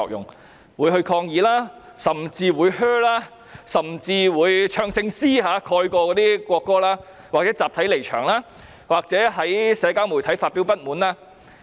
他們會抗議、喝倒采，甚至是以唱聖詩的聲音蓋過國歌，或集體離場，或在社交媒體表達不滿。